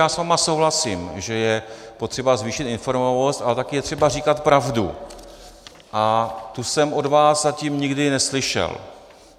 Já s vámi souhlasím, že je potřeba zvýšit informovanost, ale taky je třeba říkat pravdu a tu jsem od vás zatím nikdy neslyšel.